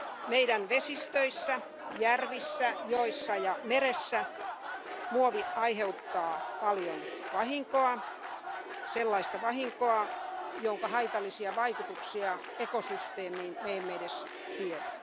Meidän vesistöissämme, järvissä, joissa ja meressä muovi aiheuttaa paljon vahinkoa, sellaista vahinkoa, jonka haitallisia vaikutuksia ekosysteemiin me emme edes tiedä.